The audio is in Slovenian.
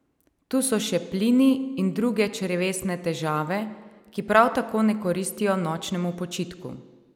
Tu so še plini in druge črevesne težave, ki prav tako ne koristijo nočnemu počitku.